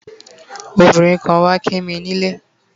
obinrin kan wa Kimi ni ile